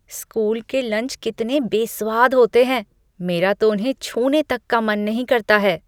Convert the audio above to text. School के lunch कितने बेस्वाद होते हैं, मेरा तो उन्हें छूने तक का मन नहीं करता है।